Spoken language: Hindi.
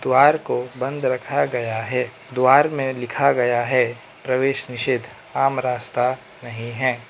द्वारा को बंद रखा गया है द्वारा में लिखा गया है प्रवेश निषेध आम रास्ता नहीं है।